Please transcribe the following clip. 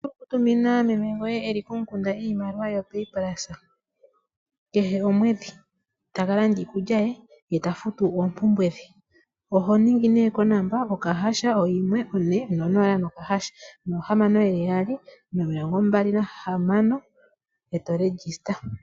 Oto vulu okutumina meme goye iimaliwa e li komukunda to longitha ongodhi kehe omwedhi, opo a ka lande iikulya ye ta futu oompumbwe dhe. Oho dhenge nduno *140*6626# opo wu ninge oshilyo.